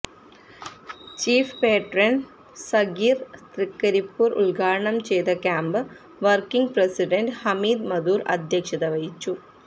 chief patron Sageer Thrikaripur ഉദ്ഘാടനം ചെയ്ത camp working president Hameed Madhur അധ്യക്ഷത വഹിച്ചു